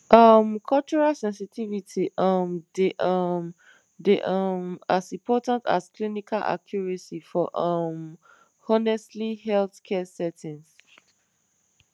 um cultural sensitivity um dey um dey um as important as clinical accuracy for um honestly healthcare settings